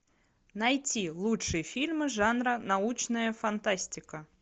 найти лучшие фильмы жанра научная фантастика